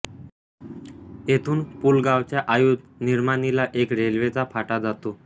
येथून पुलगावच्या आयुध निर्माणीला एक रेल्वेचा फाटा जातो